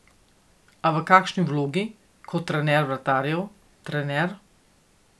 A v kakšni vlogi, kot trener vratarjev, trener ...